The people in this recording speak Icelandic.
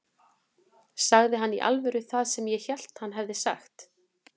Sagði hann í alvöru það sem ég hélt að hann hefði sagt?